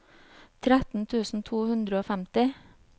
tretten tusen to hundre og femti